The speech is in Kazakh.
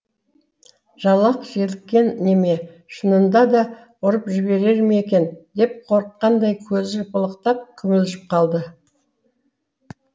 жалақ желіккен неме шынында да ұрып жіберер ме екен деп қорыққандай көзі жыпылықтап күмілжіп қалды